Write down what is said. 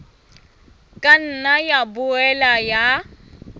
ka nna ya boela ya